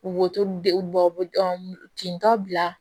Wotoro de bɔ tentɔ